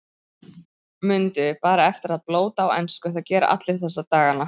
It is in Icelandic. Mundu bara eftir að blóta á ensku, það gera allir þessa dagana.